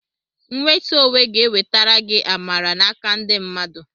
Nwetu onwe ga-enwetara gị amara n'aka ndị mmadụ.